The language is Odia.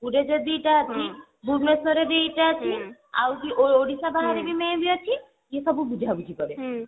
ପୁରୀରେ ଯଦି ଦିଟା ଅଛି ଭୁବନେଶ୍ବରରେ ଦିଟା ଅଛି ଓଡିଶା ବାହାରେ ବି maybe ଅଛି ଏ ସବୁ ବୁଝାବୁଝି କରେ